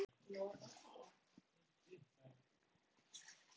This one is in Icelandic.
Ég var ekki drukkin þarna.